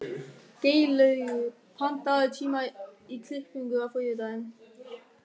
Geirlaugur, pantaðu tíma í klippingu á þriðjudaginn.